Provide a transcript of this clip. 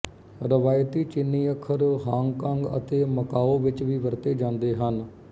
ਰਵਾਇਤੀ ਚੀਨੀ ਅੱਖਰ ਹਾਂਗ ਕਾਂਗ ਅਤੇ ਮਕਾਓ ਵਿੱਚ ਵੀ ਵਰਤੇ ਜਾਂਦੇ ਹਨ